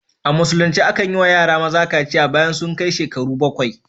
A Musulunce akan yi wa yara maza kaciya bayan sun kai shekaru bakwai.